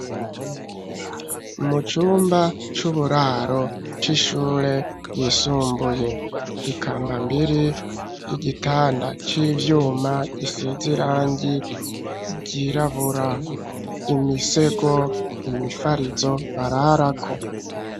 Mucumba c’uburaro c’ishure yisumbuye ,ikambambiri, igitanda civyuma gisiz’irangi ryirabura, imisego ,imifarizo bararako.